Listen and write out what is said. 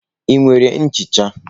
Ị nwere nchicha?